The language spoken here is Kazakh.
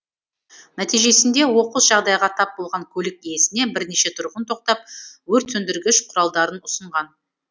нәтижесінде оқыс жағдайға тап болған көлік иесіне бірнеше тұрғын тоқтап өртсөндіргіш құралдарын ұсынған